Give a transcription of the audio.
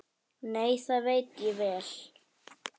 Nei, það veit ég vel.